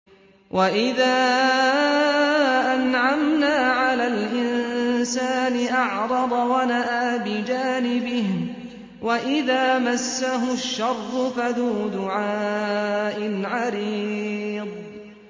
وَإِذَا أَنْعَمْنَا عَلَى الْإِنسَانِ أَعْرَضَ وَنَأَىٰ بِجَانِبِهِ وَإِذَا مَسَّهُ الشَّرُّ فَذُو دُعَاءٍ عَرِيضٍ